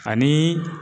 Ani